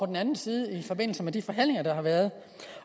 den anden side i forbindelse med de forhandlinger der har været